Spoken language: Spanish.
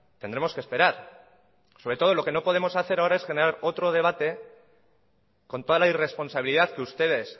tendremos que esperar sobre todo lo que no podemos hacer ahora es generar otro debate con toda la irresponsabilidad que ustedes